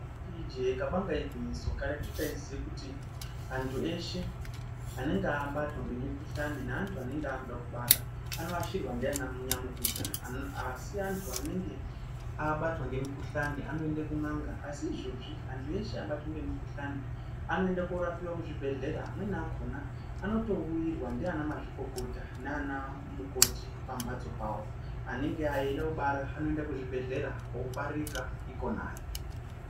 Ijee kabanga igwinyiso, karetu taiziye kuti antu eshe anenge abatwa ngemikhulani neantu anenge akude kubara anoashirwa ndiananyamukuta, asi antu anenge abatwa ngemukhulani anoende kun'anga asi izvozvi antu ese abatwa ngemukuhlani anoende korapiwa kuzvibhehlera amweni akona anotourirwa ndiana mazvikokota nanamukoti pamhatso pawo, anenge eida kubara anoenda kuzvibhelhera kobarira ikonayo.